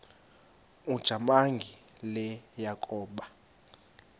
ujamangi le yakoba